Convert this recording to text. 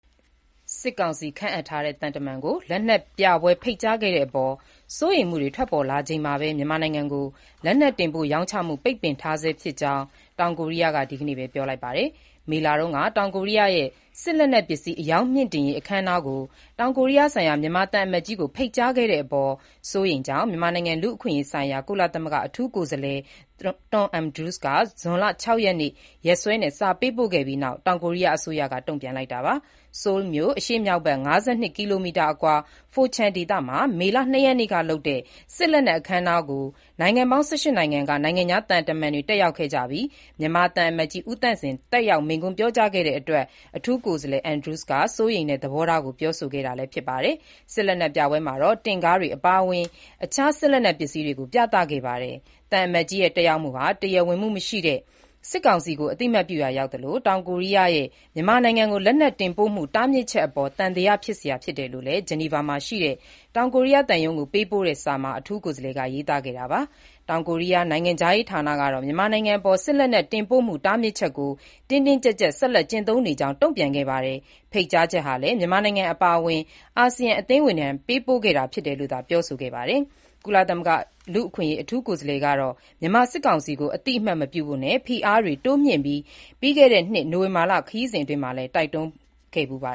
စစ်ကောင်စီ ခန့်အပ်ထားတဲ့ သံတမန်ကို လက်နက်ပြပွဲ ဖိတ်ကြားခဲ့တဲ့အပေါ် စိုးရိမ်မှုတွေ ထွက်ပေါ်လာချိန်မှာပဲ မြန်မာနိုင်ငံကို လက်နက်တင်ပို့ ရောင်းချမှု ပိတ်ပင်ထားဆဲဖြစ်ကြောင်း တောင်ကိုရီးယားက ဒီနေ့ပဲ ပြောလိုက်ပါတယ်။ မေလတုန်းက တောင်ကိုးရီးယားရဲ့ စစ်လက်နက်ပစ္စည်း အရောင်းမြှင့်တင်ရေး အခမ်းအနားကို တောင်ကိုးရီးယားဆိုင်ရာ မြန်မာသံအမတ်ကြီးကို ဖိတ်ကြားခဲ့တဲ့အပေါ် စိုးရိမ်ကြောင်း မြန်မာနိုင်ငံ လူ့အခွင့်အရေးဆိုင်ရာ ကုလသမဂ္ဂ အထူးကိုယ်စားလှယ် Thomas Andrews က ဇွန်လ ၆ ရက်နေ့ ရက်စွဲနဲ့ စာပေးပို့ခဲ့ပြီးနောက် တောင်ကိုရီးယား အစိုးရက တုံ့ပြန်လိုက်တာပါ။ ဆိုးလ်မြို့အရှေ့မြောက်ဘက် ၅၂ ကီလိုမီတာအကွာ Pocheon မှာ မေလ၂ ရက်နေ့က လုပ်တဲ့ စစ်လက်နက် အခမ်းအနားကို နိုင်ငံပေါင်း ၁၈ နိုင်ငံက နိုင်ငံခြားသံတမန်တွေ တက်ရောက်ခဲ့ကြပြီး၊ မြန်မာသံအမတ်ကြီး ဦးသန့်စင်တက်ရောက် မိန့်ခွန်းပြောကြားခဲ့တဲ့အတွက်အထူးကိုယ်စားလှယ် Andrews က စိုးရိမ်တဲ့ သဘောထားကို ပြောဆိုခဲ့တာ ဖြစ်ပါတယ်။ စစ်လက်နက်ပြပွဲမှာတော့ တင့်ကားတွေအပါအဝင် အခြားစစ်လက်နက်ပစ္စည်းတွေကို ပြသခဲ့ပါတယ်။ သံအမတ်ကြီးရဲ့ တက်ရောက်မှုဟာ တရားဝင်မှုမရှိတဲ့ စစ်ကောင်စီကို အသိအမှတ်ပြုရာ ရောက်သလို၊ တောင်ကိုရီးယားရဲ့ မြန်မာနိုင်ငံကို လက်နက်တင်ပို့မှု တားမြစ်ချက်အပေါ် သံသယဖြစ်ရတယ်လို့လည်း ဂျနီဗာမှာရှိတဲ့ တောင်ကိုရီးယားသံရုံးကို ပေးပို့တဲ့စာမှာ အထူးကိုယ်စားလှယ်က ရေးသားခဲ့တာပါ။ တောင်ကိုရီးယား နိုင်ငံခြားရေးဌာနကတော့ မြန်မာနိုင်ငံအပေါ် စစ်လက်နက် တင်ပို့မှု တားမြစ်ချက်ကို တင်းတင်းကြပ်ကြပ် ဆက်လက်ကျင့်သုံးနေကြောင်း တုံ့ပြန်ခဲ့ပါတယ်။ ဖိတ်ကြားချက်ဟာလည်း မြန်မာနိုင်ငံ အပါအဝင် အာဆီယံအသင်းဝင်တွေထံ ပေးပို့ခဲ့တာသာ ဖြစ်တယ်လို့ ပြောဆိုခဲ့တာပါ။ ကုလသမဂ္ဂ လူ့အခွင့်အရေး အထူးကိုယ်စားလှယ်ကတော့ မြန်မာစစ်ကောင်စီကို အသိအမှတ်မပြုဖို့နဲ့ ဖိအားပေးတာတွေ တိုးမြှင့်ဖို့ ပြီးခဲ့တဲ့နှစ် နိုဝင်ဘာလ ခရီးစဉ်အပြီးမှာလည်း တိုက်တွန်းခဲ့ဖူးပါ